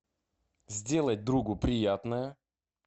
сделать другу приятное